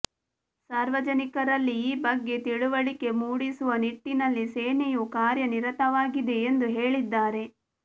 ಸಾರ್ವಜನಿಕರಲ್ಲಿ ಈ ಬಗ್ಗೆ ತಿಳಿವಳಿಕೆ ಮೂಡಿಸುವ ನಿಟ್ಟಿನಲ್ಲಿ ಸೇನೆಯೂ ಕಾರ್ಯನಿರತವಾಗಿದೆ ಎಂದು ಹೇಳಿದ್ದಾರೆ